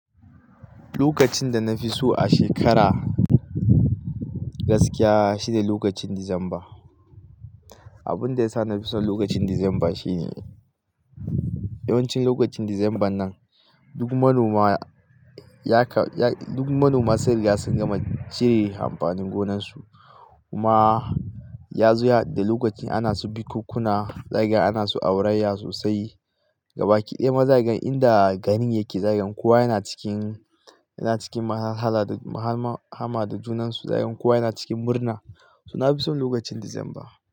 Lokacin da na fi so a shekara gaskiya shine lokacin Disamba. Abin da ya sa na fi son lokacin Disamba shine yawancin lokacin Disambar nan duk manoma ya ka-- duk manoma sunriga sun gama cire amfanin gonarsu. Kuma yazo ya hadu da lokacin ana su bukunkuna, zakaga ana su aurayya sosai. Gabaki ɗaya ma zakaga inda garin yake zagen kowa yana cikin, yana cikin muhallara da mahama da junansu. Zakaga kowa yana cikin murna. To na fi son lokacin Disamba.